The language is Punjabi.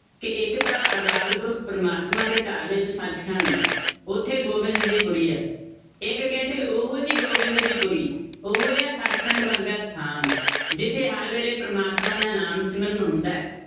ਕਿ ਇੱਕ ਤਾਂ ਅਕਾਲ ਪੁਰਖ ਪਰਮਾਤਮਾ ਦੇ ਘਰ ਵਿੱਚ ਸੱਚ ਖੰਡ ਹੈ, ਉੱਥੇ ਗੋਬਿੰਦ ਦੀ ਪੁਰੀ ਹੈ, ਇੱਕ ਕਹਿੰਦੇ ਉਹ ਜਿਹੀ ਗੋਬਿੰਦ ਦੀ ਪੁਰੀ, ਉਹ ਜਿਹਾ ਸੱਚ ਖੰਡ ਵਰਗਾ ਸਥਾਨ, ਜਿੱਥੇ ਹਰ ਵੇਲੇ ਪ੍ਰਮਾਤਮਾ ਦਾ ਨਾਮ ਸਿਮਰਨ ਹੁੰਦਾ ਹੈ,